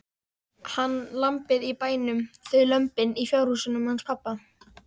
Hann, lambið í bænum, þau lömbin í fjárhúsunum hans pabba.